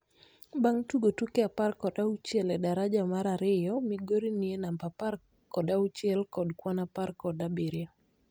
Bang tugo tuke apar kod auchiel e daraja mar ariyo migori ni e namba apar kod auchiel kod kwan apar kod abiriyo